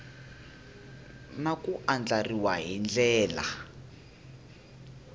na ku andlariwa hi ndlela